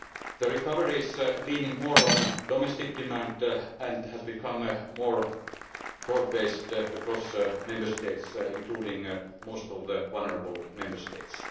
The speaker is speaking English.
The recovery is leaning more on domestic demand and has become more broad based across the Member States, including most of the vulnerable Member States.